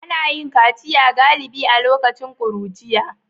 Ana yin kaciya galibi a lokacin ƙuruciya